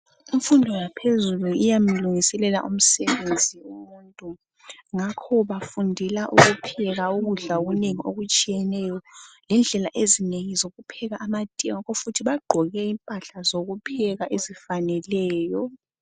Imfundo yaphezulu iyamlungiselela umsebenzi umuntu ngakho bafundela ukupheka ukudla okunengi okutshiyeneyo lendlela ezinengi zokupheka amatiye ngakho futhi bagqoke impahla zokupheka ezifaneleyo